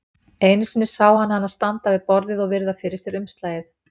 Einu sinni sá hann hana standa við borðið og virða fyrir sér umslagið.